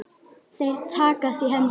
Þeir takast í hendur.